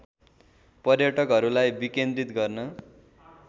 पर्यटकहरूलाई विकेन्द्रित गर्न